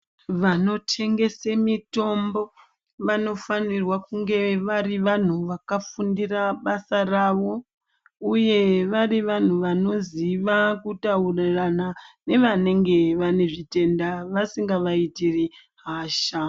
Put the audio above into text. Vano tengese mitombo vano fanirwa kunge vari vanhu vaka fundira basa ravo uye vari vanhu vanoziva kutaurirana nevanenge vane zvitenda vasinga vaiitiri hasha.